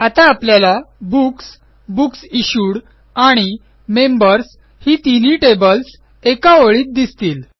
आता आपल्याला books books issued आणि मेंबर्स तिन्ही टेबल्स एका ओळीत दिसतील